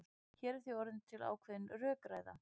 Hér er því orðin til ákveðin rökræða.